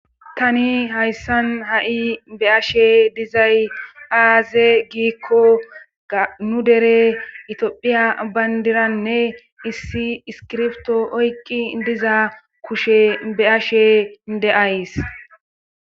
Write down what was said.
Tani hayssan ha'i be ashe dizay aaze giikko ganu dere itoophiya bayndiranne issi iskirfto oykki diza kushe be ashe deays.